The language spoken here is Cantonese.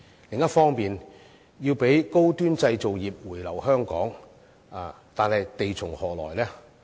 另一方面，我們必須讓高端製造業回流香港，但地從何來呢？